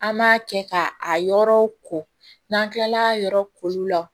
An b'a kɛ ka a yɔrɔw ko n'an kilala yɔrɔ koliw la